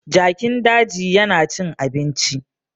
Jakin dajin yana cin abinci